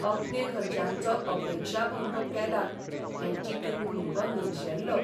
अपने घरच्यांचो अपेक्षाभंग केला हें चिंतून भुरगो निरशेल्लो